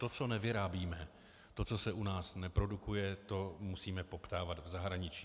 To, co nevyrábíme, to, co se u nás neprodukuje, to musíme poptávat v zahraničí.